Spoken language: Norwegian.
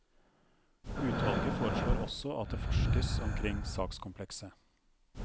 Utvalget foreslår også at det forskes omkring sakskomplekset.